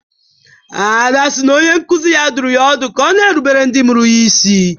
Ada si na onye nkuzi ya dụrụ ya ọdụ ka ọ na-erubere ndị mụrụ ya isi